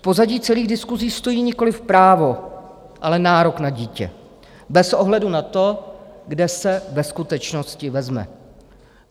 V pozadí celých diskusí stojí nikoliv právo, ale nárok na dítě, bez ohledu na to, kde se ve skutečnosti vezme.